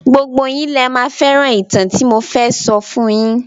Gbogbo yín lẹ máa fẹ́ràn ìtàn tí mo fẹ́ sọ fun yín.